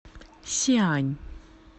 сиань